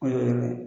O ye